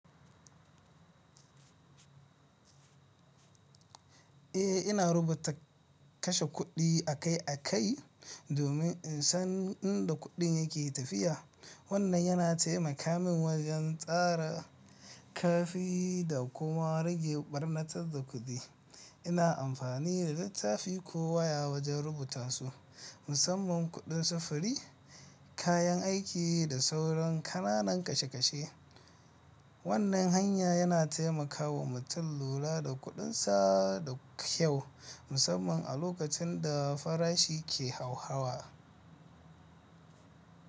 Eh, ina rubuta kashe kuɗi a kai a kai domin in san inda kuɗin yake tafiya. Wannan yana taimaka min wajen tsara karfi da kuma rage ɓarnatar da kuɗi. Ina amfani da littafi ko waya wajen rubuta su, musamman kuɗin safuri, kayan aiki da sauran ƙananan kashe kashe. Wannan hanya yana taimakawa mutum lura da kuɗinsa da kyau, musamman a lokacin da farashi ke hauhawa.